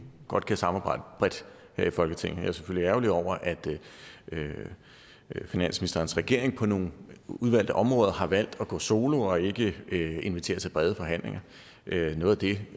godt kan samarbejde bredt her i folketinget jeg er selvfølgelig ærgerlig over at finansministerens regering på nogle udvalgte områder har valgt at gå solo og ikke inviteret til brede forhandlinger noget af det